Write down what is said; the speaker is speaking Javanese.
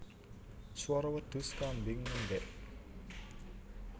Swara wedhus kambing ngembek